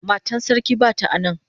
Matan sarki bata a nan.